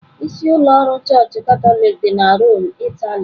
Isi ụlọ ọrụ Chọọchị Katọlik dị na Rome, Italy.